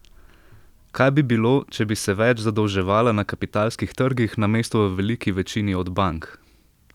Kaj bi bilo, če bi se več zadolževala na kapitalskih trgih namesto v veliki večini od bank?